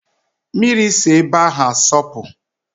Mmiri si ebe ahụ asọpụ